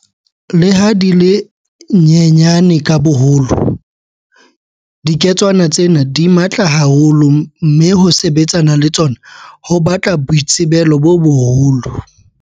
Leha di le nyenyane ka boholo, dike tswana tsena di matla ha holo mme ho sebetsana le tsona ho batla boitsebelo bo boholo.